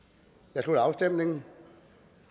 jeg slutter afstemningen